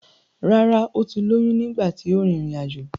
Rárá ó ti lóyún nígbà tí ó rin ìrìn àjò.